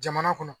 Jamana kɔnɔ